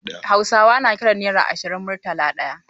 Hausawa na kiran naira Ashirin "Murtala ɗaya".